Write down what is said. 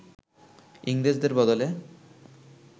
ইংরেজের বদলে